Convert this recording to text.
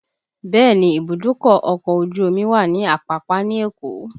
Bẹẹ ni, ìbùdókọ̀ ọkọ̀ ojú omi wà ní Apapa ní Èkó